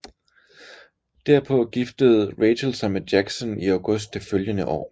Derpå giftede Rachel sig med Jackson i august det følgende år